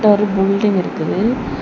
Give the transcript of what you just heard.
இதுல ஒரு புல்டிங் நிக்குது.